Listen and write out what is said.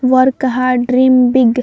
Work hard dream big.